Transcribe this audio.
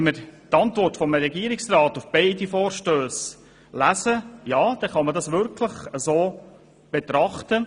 Wenn man die Antworten des Regierungsrats auf die beiden Vorstösse liest, kann man das wirklich so betrachten.